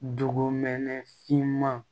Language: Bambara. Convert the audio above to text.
Dugumɛnɛ finman